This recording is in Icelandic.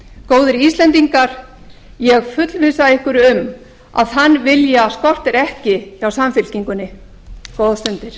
góðir íslendingar ég fullvissa ykkur um að þann vilja skortir ekki hjá samfylkingunni góðar stundir